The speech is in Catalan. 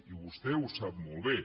i vostè ho sap molt bé